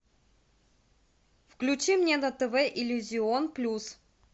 включи мне на тв иллюзион плюс